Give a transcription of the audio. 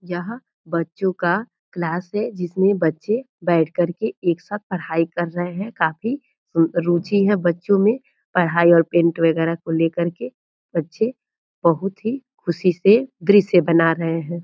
यहाँ बच्चों का क्लास है जिसमें बच्चे बैठ कर के एक साथ पढाई कर रहे है काफी रूचि है बच्चों मे पढाई और पेंट वगेरा को ले करके बच्चे बहुत ही खुशी से दृश्य बना रहे हैं ।